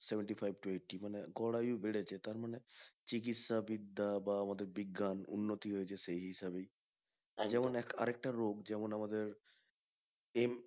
Seventy-five to eighty মানে গড় আয়ু বেড়েছে তার মানে চিকিৎসা বিদ্যা বা আমাদের বিজ্ঞান উন্নতি হয়েছে সেই হিসাবেই। যেমন আর একটা রোগ যেমন আমাদের